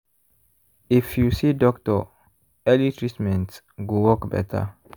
if you see doctor early treatment go work better.